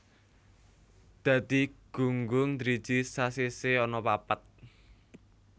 Dadi gunggung driji sasisih ana papat